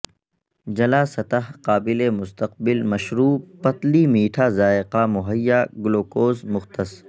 جلا سطح قابل مستقبل مشروب پتلی میٹھا ذائقہ مہیا گلوکوز مختص